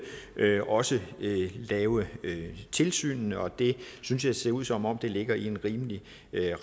også lave tilsynene og det synes jeg ser ud som om ligger i en rimelig